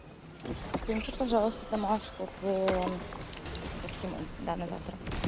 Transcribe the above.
скиньте пожалуйста домашнее задание по по всему да на завтра